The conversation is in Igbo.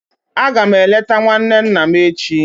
Aga m eleta nwanne nna m echi.